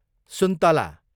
सुन्तला